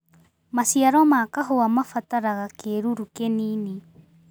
Maciaro ma kahũa mabataraga kĩruru kĩnini.